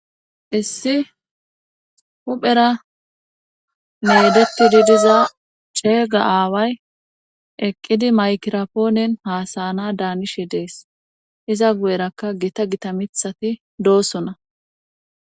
issi huphera meedeti didiza ceega aaway eqqidi maykirapoonen haasayana daanishe dees iza gu7erakka gita gita mithati doosona